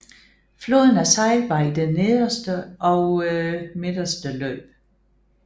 Floden er sejlbar i det nederste og midterse løb